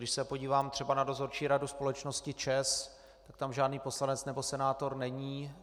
Když se podívám třeba na dozorčí radu společnosti ČEZ, tak tam žádný poslanec nebo senátor není.